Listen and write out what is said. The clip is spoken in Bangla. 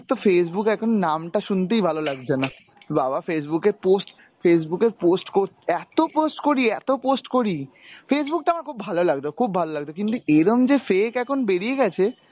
তো Facebook এখন নামটা শুনতেই ভালো লাগছে না। বাবা Facebook এ post, Facebook এ post কোর, এতো post করি, এতো post করি, Facebook টা আমার খুব ভালো লাগতো খুব ভালো লাগত, কিন্তু এরকম যে fake এখন বেরিয়ে গেছে,